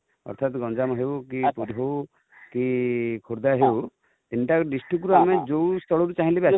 ଅର୍ଥାତ ଗଞ୍ଜାମ ହଉ କି କି ଖୋର୍ଦ୍ଧା ହଉ ,ତିନ ଟା district ରୁ ଆମେ ଜଉ ସ୍ଥଳ ରୁ ଚାହିଁ ଲେ ଆସି ପାରିବା |